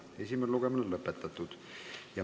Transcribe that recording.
Esimene lugemine on lõppenud.